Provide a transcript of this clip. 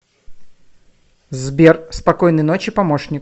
сбер спокойной ночи помощник